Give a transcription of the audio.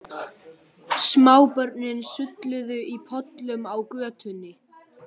Smábörnin sulluðu í pollum á götunni.